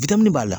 b'a la